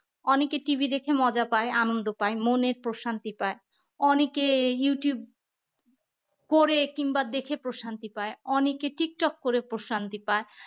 অনেকে TV দেখতে মজা পায় আনন্দ পায় মনে প্রশান্তি পায় অনেকে youtube পরে কিংবা দেখে প্রশান্তি পায় অনেকে টিকটক করে প্রশান্তি পায়